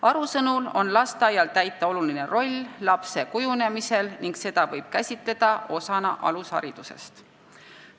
Aru sõnul on lasteaial täita oluline roll lapse kujunemisel ning seda võib käsitada osana alusharidusest.